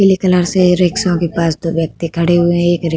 पीले कलर से रिक्शाो के पास दो व्यक्ति खड़े हुए हैं। एक रि --